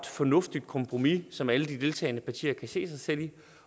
fornuftigt kompromis som alle de deltagende partier kan se sig selv i